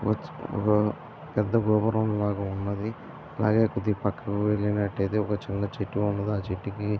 ఒక పెద్ధ గృహరంలాగ ఉన్నది. అలాగే కొద్దిగ పక్కకి వెళ్ళినట్లు అయితే ఒక చిన్న చెట్టు ఉన్నది ఆ చెట్టుకి --